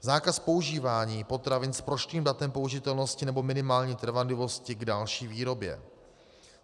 Zákaz používání potravin s prošlým datem použitelnosti nebo minimální trvanlivost k další výrobě.